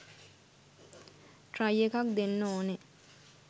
Try එකක් දෙන්න ඕනෙ.